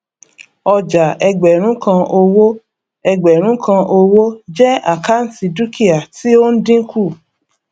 ọjà ẹgbẹrún kan owó ẹgbẹrún kan owó jẹ àkáǹtì dúkìá tí ó ń dínkù